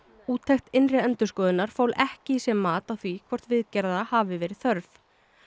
úttekt innri endurskoðunar fól ekki í sér mat á því hvort viðgerða hafi verið þörf